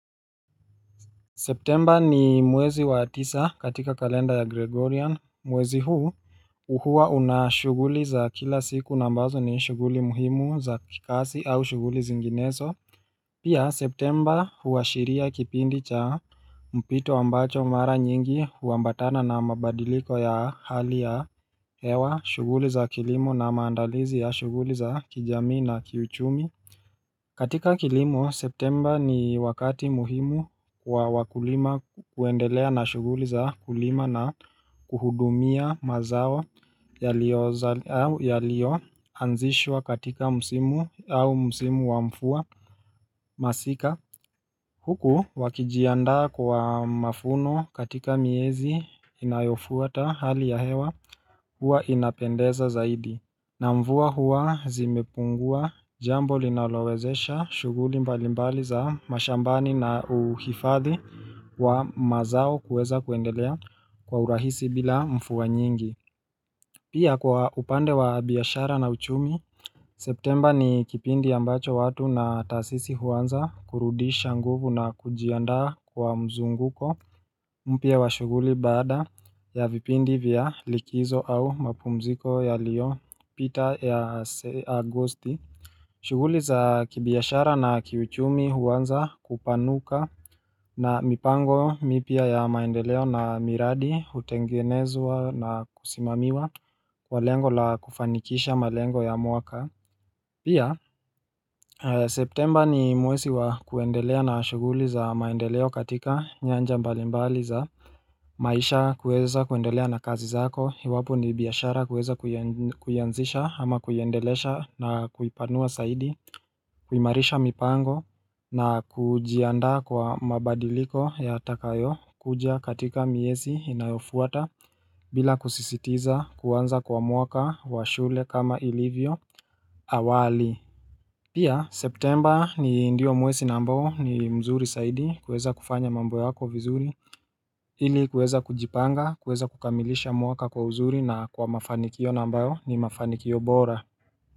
Septemba ni mwezi wa tisa katika kalenda ya Gregorian mwezi huu huwa unashughuli za kila siku na ambazo ni shughuli muhimu za kikazi au shughuli zinginezo Pia Septemba huashiria kipindi cha mpito ambacho mara nyingi huambatana na mabadiliko ya hali ya hewa shughuli za kilimo na maandalizi ya shughuli za kijamii na kiuchumi katika kilimo, septemba ni wakati muhimu wa wakulima kuendelea na shughuli za kulima na kuhudumia mazao yaliyoanzishwa katika msimu au msimu wa mvua masika. Huku wakijiandaa kwa mavuno katika miezi inayofuata hali ya hewa huwa inapendeza zaidi. Na mvua huwa zimepungua jambo linalowezesha shughuli mbalimbali za mashambani na uhifadhi wa mazao kuweza kuendelea kwa urahisi bila mvua nyingi. Pia kwa upande wa biashara na uchumi, septemba ni kipindi ambacho watu na taasisi huanza kurudisha nguvu na kujiandaa kwa mzunguko mpya wa shughuli baada ya vipindi vya likizo au mapumziko yaliyopita ya agosti. Shuguli za kibiashara na kiuchumi huanza kupanuka na mipango mipya ya maendeleo na miradi hutengenezwa na kusimamiwa kwa lengo la kufanikisha malengo ya mwaka Pia septemba ni mwezi wa kuendelea na shughuli za maendeleo katika nyanja mbalimbali za maisha, kuweza kuendelea na kazi zako iwapo ni biashara kuweza kuianzisha ama kuiendeleza na kuipanua zaidi kuimarisha mipango na kujiandaa kwa mabadiliko yatakayokuja katika miezi inayofuata bila kusisitiza kuanza kwa mwaka wa shule kama ilivyo awali Pia Septemba ni ndio mwezi ambao ni mzuri zaidi kuweza kufanya mambo yako vizuri Ili kuweza kujipanga kuweza kukamilisha mwaka kwa uzuri na kwa mafanikio na ambayo ni mafanikio bora.